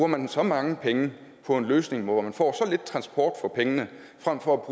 man så mange penge på en løsning hvor man får så lidt transport for pengene frem for at